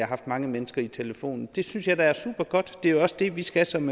haft mange mennesker i telefonen det synes jeg da er supergodt det er jo også det vi skal som